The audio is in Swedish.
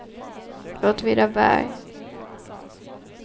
Åtvidaberg